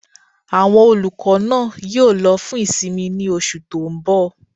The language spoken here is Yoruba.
Àwọn olùkọ́ náà yóò lọ fún ìsinmi ní oṣù tó n bọ̀